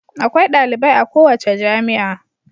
Akwai dalibai a kowace jami'a.